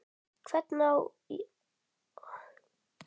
Hvernig á að útskýra það?